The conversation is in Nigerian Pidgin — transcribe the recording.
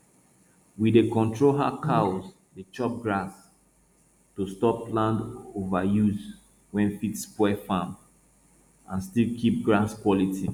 we dey control how cows dey chop grass to stop land overuse wey fit spoil farms and still keep grass quality